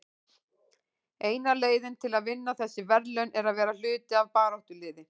Eina leiðin til að vinna þessi verðlaun er að vera hluti af baráttuliði.